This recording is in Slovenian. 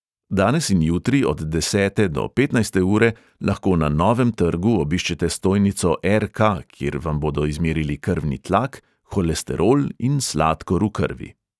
Danes in jutri od desete do petnajste ure lahko na novem trgu obiščete stojnico er|ka, kjer vam bodo izmerili krvni tlak, holesterol in sladkor v krvi.